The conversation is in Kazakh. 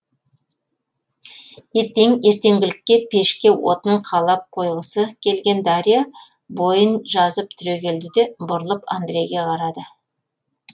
ертең ертеңгілікке пешке отын қалап қойғысы келген дарья бойын жазып түрегелді де бұрылып андрейге қарады